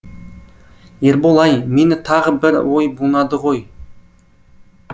ербол ай мені тағы бір ой бунады ғой